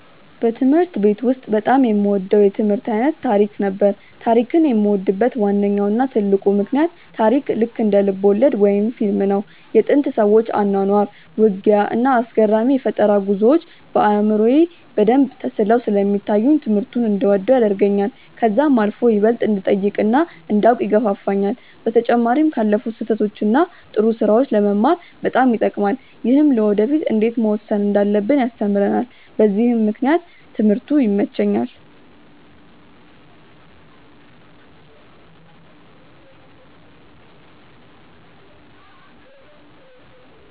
በትምህርት ቤት ውስጥ በጣም የምወደው የትምህርት አይነት ታሪክ ነበር። ታሪክን የምወድበት ዋነኛው እና ትልቁ ምክንያት ታሪክ ልክ እንደ ልብወለድ ወይም ፊልም ነው። የጥንት ሰዎች አኗኗር፣ ውጊያ፣ እና አስገራሚ የፈጠራ ጉዞዎች በአእምሮዬ በደንብ ተስለው ስለሚታዩኝ ትምህርቱን እንድወደው ያደርገኛል። ከዛም አልፎ ይበልጥ እንድጠይቅ እና እንዳውቅ ይገፋፋኛል። በተጨማሪም ካለፉት ስህተቶች እና ጥሩ ስራዎች ለመማር በጣም ይጠቅማል። ይህም ለወደፊ እንዴት መወሰን እንዳለብን ያስተምረናል በዚህም ምክንያት ትምህርቱ ይመቸኛል።